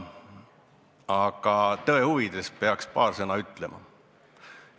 Aga tõe huvides peaks paar sõna ütlema.